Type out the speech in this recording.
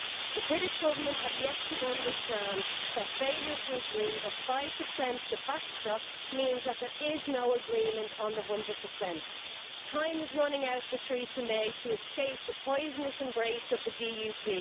The British Government has yet to understand that failure to agree the 5 the backstop means that there is no agreement on the 100. Time is running out for Theresa May to escape the poisonous embrace of the DUP.